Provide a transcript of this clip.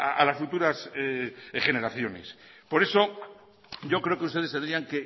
a las futuras generaciones por eso yo creo que ustedes tendrían